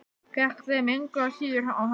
Gekk þeim engu að síður á hönd.